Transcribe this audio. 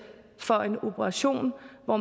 for en operation hvor